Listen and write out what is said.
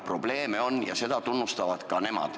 Probleeme on ja seda tunnistavad ka nemad.